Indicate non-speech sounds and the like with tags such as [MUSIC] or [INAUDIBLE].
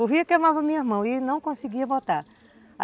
O [UNINTELLIGIBLE] queimava minhas mãos e ele não conseguia voltar.